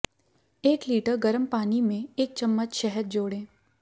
एक लीटर गर्म पानी में एक चम्मच शहद जोड़ें